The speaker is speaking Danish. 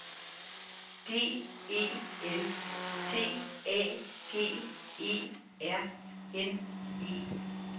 D E L T A G E R N E